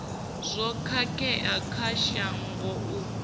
zwo khakhea kha shango u